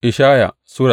Ishaya Sura